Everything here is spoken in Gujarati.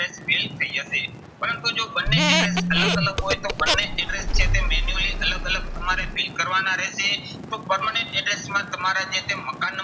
fill થઇ જશે. પરંતુ જો બંને address અલગ અલગ હોય તો બંને address છે તે manually અલગ અલગ તમારે fill કરવાના રહેશે. તો permanent address માં તમારે જે છે મકાન